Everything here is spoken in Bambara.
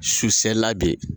Su sela bi